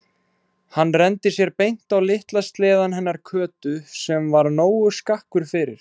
Og hann renndi sér beint á litla sleðann hennar Kötu sem var nógu skakkur fyrir.